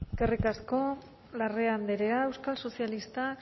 eskerrik asko larrea andrea euskal sozialistak